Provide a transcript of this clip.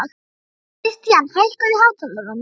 Kristian, hækkaðu í hátalaranum.